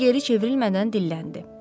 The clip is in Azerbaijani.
O geri çevrilmədən dilləndi.